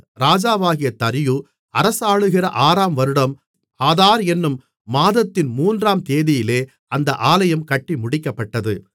ராஜாவாகிய தரியு அரசாளுகிற ஆறாம் வருடம் ஆதார் என்னும் மாதத்தின் மூன்றாம் தேதியிலே அந்த ஆலயம் கட்டி முடிக்கப்பட்டது